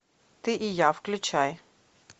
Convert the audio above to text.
ты и я включай